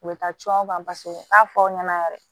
U bɛ taa can paseke u b'a fɔ aw ɲɛna yɛrɛ